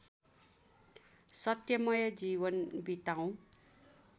सत्यमय जीवन बिताओ